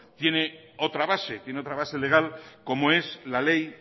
tiene otra base tiene otra base legal como es la ley